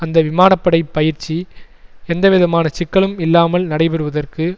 அந்த விமான படை பயிற்சி எந்த விதமான சிக்கலும் இல்லாமல் நடைபெறுவதற்கு